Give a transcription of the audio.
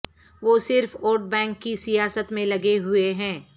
وہ صرف vote bank کی سیاست میں لگے ہوئے ہیں